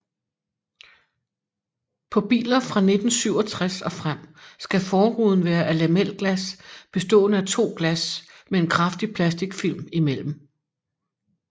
På biler fra 1967 og frem skal forruden være af lamelglas bestående af to glas med en kraftig plasticfilm imellem